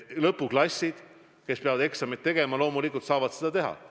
Lõpuklassid, kes peavad eksameid tegema, loomulikult saavad seda teha.